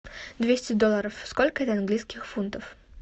двести долларов сколько это английских фунтов